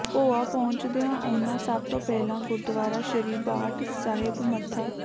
ਭੋਆ ਪਹੁੰਚਦੀਆਂ ਉਹਨਾਂ ਸਭ ਤੋਂ ਪਹਿਲਾਂ ਗੁਰਦੁਆਰਾ ਸ੍ਰੀ ਬਾਰਠ ਸਾਹਿਬ ਮੱਥਾ